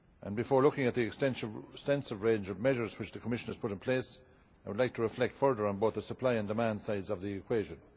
Before looking at the extensive range of measures which the Commission has put in place, I would like to reflect further on both the supply and demand sides of the equation.